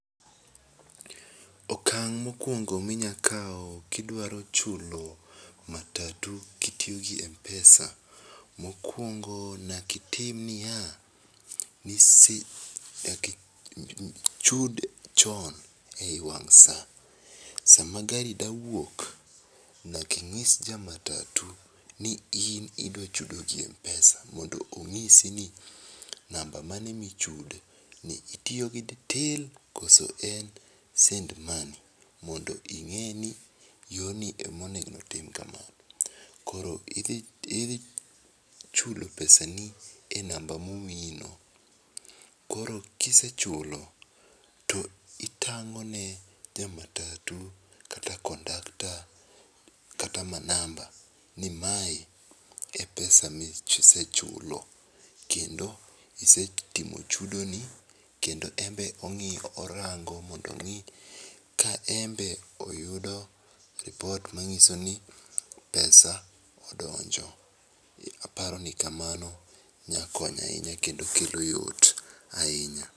Okang mokuongo mi unyakawo gi dwa chulo matatu ki itiyo gi mpesa .Mokuongo nyaka itim ni ya, nyaka ichud chon e wang' sa sa ma gari dwa wuok nyaka ing'is ja matutu ni idwa chudo gi mpesa ,mondo ong'isi namba mane mi oiore itiyo gi till kata send money , mondo inge ni yor ni e ma onego otim ka ma koo i ichulo pesa ni e namba ma omiyi no koro ki isechulo to itang'one ja matutu kata kondakta kata manamba ni mae e pesa ma isechulo ,kendo isetimo chudo ni kendo en be ong'iyo orango mondo ong'i ka oyudo lipot ma ng'iso ni pesa odonjo. Aparoni ni kamano nya konyo ahinya kendo kelo yot ahinya.